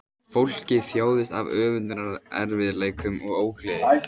Fólkið þjáðist af öndunarerfiðleikum og ógleði